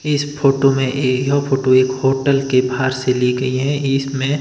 इस फोटो में ये यह फोटो एक होटल के बाहर से ली गई है इसमें--